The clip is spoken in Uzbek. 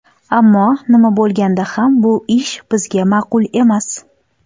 Ammo, nima bo‘lganda ham, bu ish bizga ma’qul emas.